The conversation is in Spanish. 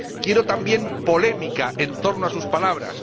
quiero, también, polémica en torno a sus palabras.